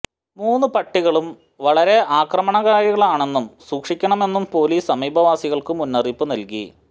മൂന്നു പട്ടികളും വളരെ ആക്രമണകാരികളാണെന്നും സൂക്ഷിക്കണമെന്നും പൊലീസ് സമീപവാസികള്ക്കു മുന്നറിയിപ്പു നല്കി